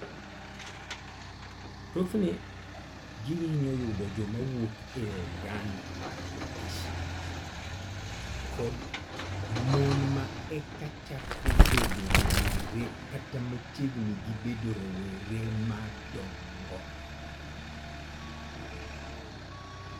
Thothne gihinyo yudo joma wuok e oganda mar Caucasians, kod mon ma eka chako bedo rowere kata machiegni gi bedo rowere ma madongo.